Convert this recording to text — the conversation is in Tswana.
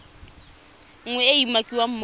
nngwe e e umakiwang mo